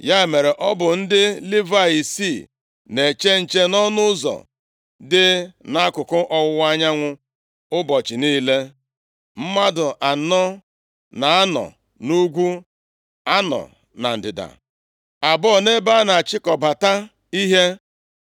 Ya mere, ọ bụ ndị Livayị isii na-eche nche nʼọnụ ụzọ dị nʼakụkụ ọwụwa anyanwụ ụbọchị niile. Mmadụ anọ na-anọ nʼugwu, anọ na ndịda, abụọ nʼebe a na-achịkọbata ihe.